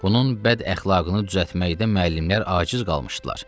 Bunun bədəxlaqını düzəltməkdə müəllimlər aciz qalmışdılar.